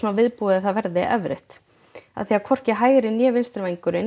viðbúið að það verði erfitt hvorki hægri né vinstri vængurinn